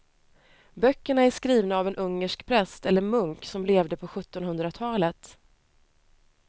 Böckerna är skrivna av en ungersk präst eller munk som levde på sjuttonhundratalet.